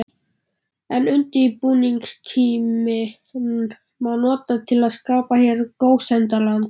En undirbúningstímann má nota til að skapa hér gósenland.